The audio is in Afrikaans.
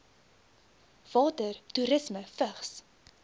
water toerisme vigs